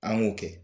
An y'o kɛ